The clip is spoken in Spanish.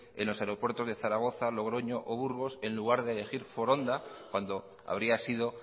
en los aeropuertos de zaragoza logroño o burgos en lugar de elegir foronda cuando habría sido